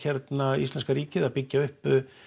íslenska ríkið að byggja upp